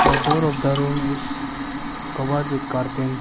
The door of the room is covered with curtain --